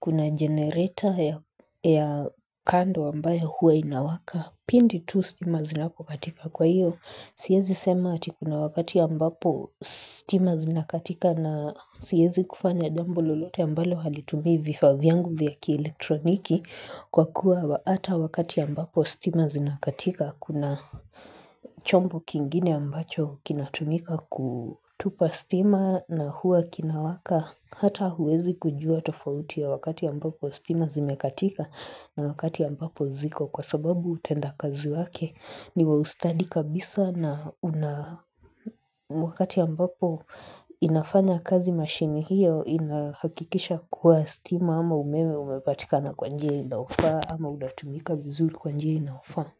kuna generator ya kando ambayo hua inawaka. Pindi tu stima zinapo katika kwa hiyo siezi sema ati kuna wakati ambapo stima zinakatika na siezi kufanya jambo lolote ambalo halitumii vifaa vyangu vya kielektroniki kwa kuwa ata wakati ambapo stima zinakatika kuna chombo kingine ambacho kinatumika kutupa stima na hua kinawaka hata huwezi kujua tofauti ya wakati ambapo stima zimekatika na wakati ambapo ziko kwa sababu utenda kazi wake ni wa ustadi kabisa na una wakati ambapo inafanya kazi mashine hiyo inahakikisha kuwa stima ama umeme umepatika na kwa njia inaofaa ama unatumika vizuri kwa njia inayofaa.